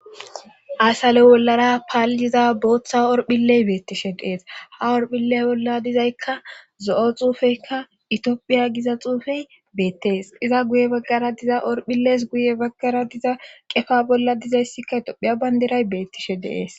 Asale wollara paal7iza booththa orphilley beettishe deees ha orphilley bolla dizaykka zo7o xuufeykka itophiya giza xuufey beettees iza guye baggara diza orphilees guye baggara diza qefa bolla dizayssikka etophiya baynderay beettishe deees.